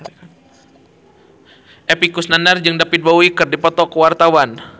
Epy Kusnandar jeung David Bowie keur dipoto ku wartawan